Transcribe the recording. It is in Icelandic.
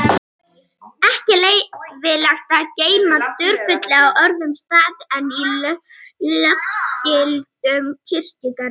Ekki veit ég hvort þessi skýring er sú eina rétta.